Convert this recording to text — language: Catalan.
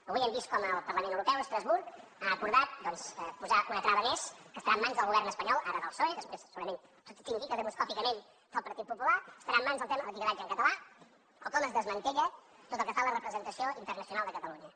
avui hem vist com el parlament europeu a estrasburg ha acordat doncs posar una trava més que estarà en mans del govern espanyol ara del psoe després segurament tot indica demoscòpicament que del partit popular estarà en mans el tema de l’etiquetatge en català o com es desmantella tot el que fa a la representació internacional de catalunya